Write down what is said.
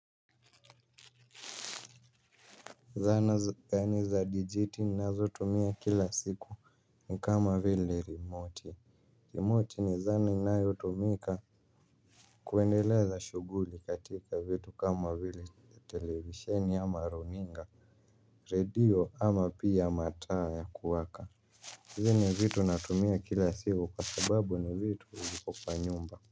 Zana zani za dijiti nazo tumia kila siku ni kama vile remote remote ni zana inayo tumika kuendeleza shuguli katika vitu kama vile televisheni ama runinga radio ama pia mataa ya kuwaka hizi ni vitu natumia kila siku kwa sababu ni vitu kupa nyumba.